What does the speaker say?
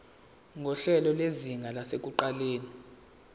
nguhlelo lwezinga lasekuqaleni